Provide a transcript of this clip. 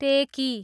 टेकी